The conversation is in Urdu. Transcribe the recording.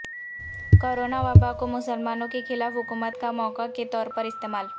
کورونا وبا کو مسلمانوں کے خلاف حکومت کا موقع کے طور پر استعمال